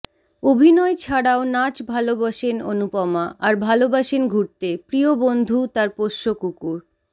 অভিনয় ছাড়াও নাচ ভালবাসেন অনুপমা আর ভালবাসেন ঘুরতে প্রিয় বন্ধু তার পোষ্য কুকুর